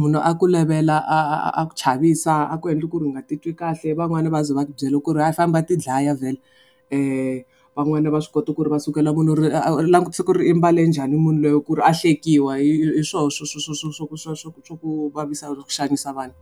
Munhu a ku levela a a a ku chavisa, a ku endla ku ri u nga titwi kahle van'wana va ze va ku byela ku ri a famba u ya tidlaya vhele. Van'wana va swi kota ku ri va sukela langutisa ku ri u mbale njhani munhu loyi ku ri a hlekiwa. Hi swoho swa swa ku vavisa swa ku xanisa vanhu.